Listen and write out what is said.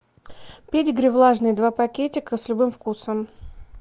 педигри влажный два пакетика с любым вкусом